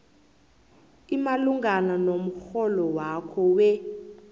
imalungana nomrholwakho we